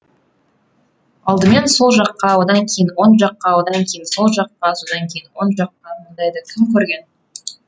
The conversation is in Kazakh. алдымен сол жаққа одан кейін оң жаққа одан кейін сол жаққа содан кейін оң жаққа мұндайды кім көрген